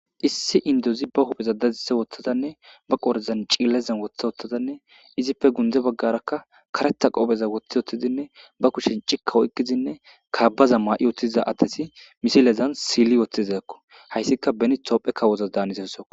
Issi indozi ba hupheza dadisa wotadanne ba qoren ce,leza wotadanne izippe guye bagara karetha qopheza wotidinne ba kushen ci,ka oyikidinne kabaza mayiutiza asati misilezan sili wotizako hayisika beni kawoko